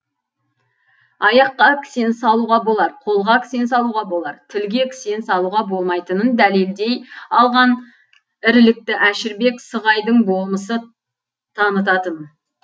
аяққа кісен салуға болар қолға кісен салуға болар тілге кісен салуға болмайтынын дәлелдей алған ірілікті әшірбек сығайдың болмысы танытатын